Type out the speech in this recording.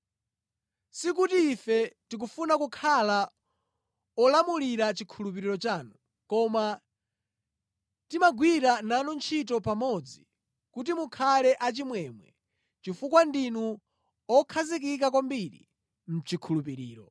Sikuti ife tikufuna kukhala olamulira chikhulupiriro chanu, koma timagwira nanu ntchito pamodzi kuti mukhale achimwemwe, chifukwa ndinu okhazikika kwambiri mʼchikhulupiriro.